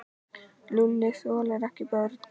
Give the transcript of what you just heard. Lúlli þolir ekki börn.